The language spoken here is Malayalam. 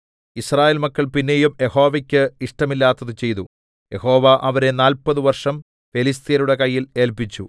യിസ്രായേൽ മക്കൾ പിന്നെയും യഹോവയ്ക്ക് ഇഷ്ടമില്ലാത്തത് ചെയ്തു യഹോവ അവരെ നാല്പത് വർഷം ഫെലിസ്ത്യരുടെ കയ്യിൽ ഏല്പിച്ചു